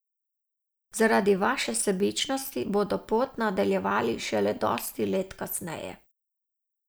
Zaradi vaše sebičnosti bodo pot nadaljevali šele dosti let kasneje.